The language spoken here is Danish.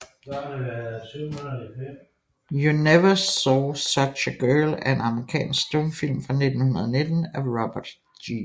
You Never Saw Such a Girl er en amerikansk stumfilm fra 1919 af Robert G